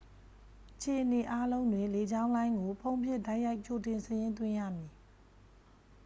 အခြေအနေအားလုံးတွင် လေကြောင်းလိုင်းကို ဖုန်းဖြင့် တိုက်ရိုက် ကြိုတင်စာရင်းသွင်းရမည်